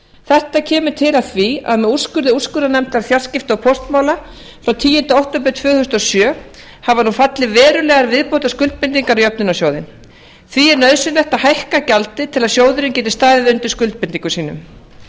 þetta kemur til af því að með úrskurði úrskurðarnefndar fjarskipta og póstmála frá tíunda október tvö þúsund og sjö hafa nú fallið verulegar viðbótarskuldbindingar á jöfnunarsjóðinn því er nauðsynlegt að hækka gjaldið til að sjóðurinn geti staðið undir skuldbindingum sínum